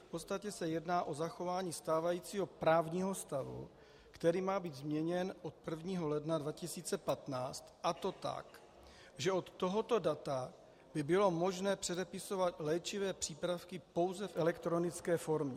V podstatě se jedná o zachování stávajícího právního stavu, který má být změněn od 1. ledna 2015, a to tak, že od tohoto data by bylo možné předepisovat léčivé přípravky pouze v elektronické formě.